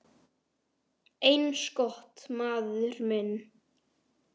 Eins gott, maður minn